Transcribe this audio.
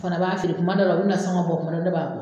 O fana b'a feere, kuma dɔ la o bɛ nasɔngɔ bɔ kuma dɔ la ne b'a bɔ.